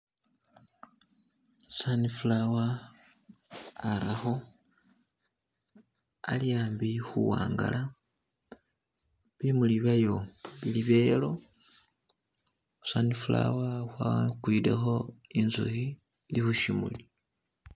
Sunflower arakho, ali ambi khuwangala, bimuli byeyo bili bye yellow, sunflower wakwilekho inzukhi ili khu shimuli.